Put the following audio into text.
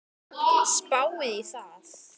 Spáið í það!